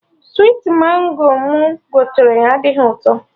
Switi Mango mụ gotere adịghị ụtọ